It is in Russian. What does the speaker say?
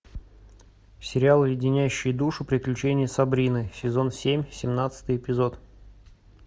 сериал леденящие душу приключения сабрины сезон семь семнадцатый эпизод